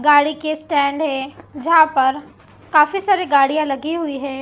गाड़ी के स्टैंड है जहां पर काफी सारी गाड़ियां लगी हुई है।